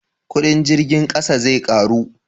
kudin jirgin ƙasa zai karu?